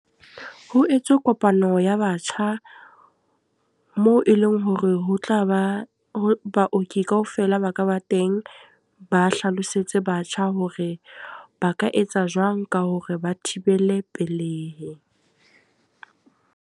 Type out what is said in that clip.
Ho etswe kopano ya batjha, moo e leng hore ho tla ba ho baoki kaofela ba ka ba teng. Ba hlalosetse batjha hore ba ka etsa jwang ka hore ba thibele pelei.